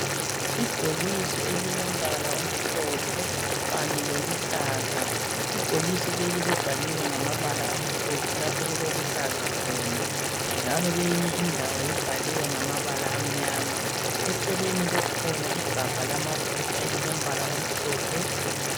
Ibhokisi elilombala omhlophe kanye loluhlaza, ibhokisi leli libhaliwe ngamabala amhlophe lapho okukuloluhlaza khona, njalo kweyinye indawo libhaliwe ngamabala amnyama , eceleni kukhona igabha lamafutha elilombala omhlophe